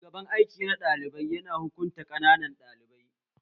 Shugaban aiki na ɗalibai ya na hukunta ƙananan ɗalibai